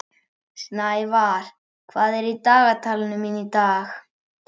Snævar, hvað er á dagatalinu mínu í dag?